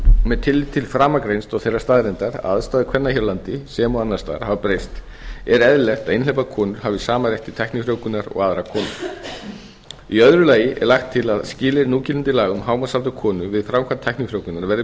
með tilliti til framangreinds og þeirrar staðreyndar að aðstæður konan hér á landi sem og annars staðar hafa breyst er eðlilegt að einhleypar konur hafi sama rétt til tæknifrjóvgunar og aðrar konur í eru lagi er lagt til að skilyrði núgildandi laga um hámarksaldur konu við framkvæmd tæknifrjóvgunar verði